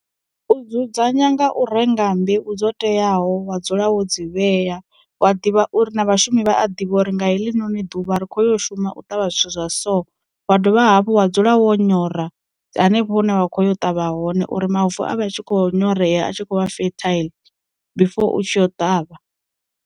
U dzudzanya nga u renga mbeu dzo teaho wa dzula wo dzi vhea wa a ḓivha uri na vhashumi vha a ḓivha uri nga heḽinoni ḓuvha ri kho yo shuma u ṱavha zwithu zwa so, wa dovha hafhu wa dzula wo nyora dza hanefho hune vha khoya u ṱavha hone uri mavu avhe a tshi kho nyorea a tshi kho vha fertile before u tshi yo ṱavha.